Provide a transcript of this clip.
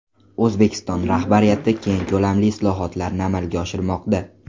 O‘zbekiston rahbariyati keng ko‘lamli islohotlarni amalga oshirmoqda.